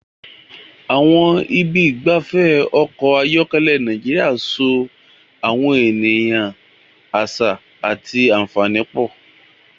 Àwọn ibi ìgbafẹ́ ọkọ̀ ayọ́kẹ́lẹ́ Nàìjíríà so àwọn ènìyàn, àṣà, àti àfààní pọ̀.